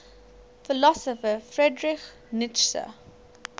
philosopher friedrich nietzsche